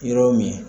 Yɔrɔ min